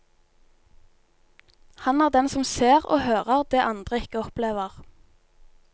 Han er den som ser og hører det andre ikke opplever.